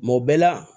Mɔ bɛɛ la